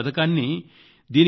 ఈ పథకాన్ని సరళీకరించాం